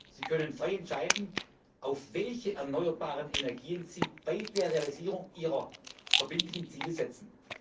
Sie können frei entscheiden, auf welche erneuerbaren Energien sie bei der Realisierung ihrer verbindlichen Ziele setzen.